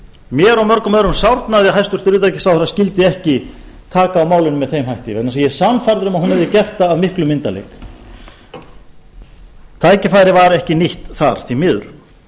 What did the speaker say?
mér og mörgum öðrum sárnaði að hæstvirtur utanríkisráðherra skyldi ekki taka á málinu með þeim hætti vegna þess að ég er sannfærður um að hún hefði gert það af miklum myndarleik tækifærið var ekki nýtt þar því miður